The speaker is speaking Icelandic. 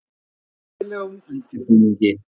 Með hæfilegum undirbúningi.